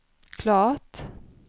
klart